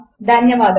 ధన్యవాదములు